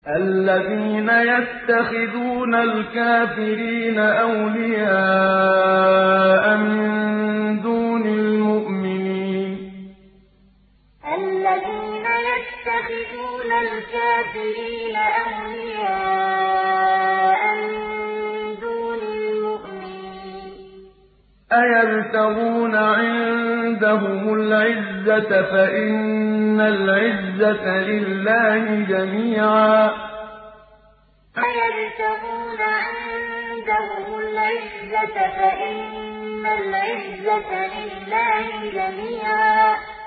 الَّذِينَ يَتَّخِذُونَ الْكَافِرِينَ أَوْلِيَاءَ مِن دُونِ الْمُؤْمِنِينَ ۚ أَيَبْتَغُونَ عِندَهُمُ الْعِزَّةَ فَإِنَّ الْعِزَّةَ لِلَّهِ جَمِيعًا الَّذِينَ يَتَّخِذُونَ الْكَافِرِينَ أَوْلِيَاءَ مِن دُونِ الْمُؤْمِنِينَ ۚ أَيَبْتَغُونَ عِندَهُمُ الْعِزَّةَ فَإِنَّ الْعِزَّةَ لِلَّهِ جَمِيعًا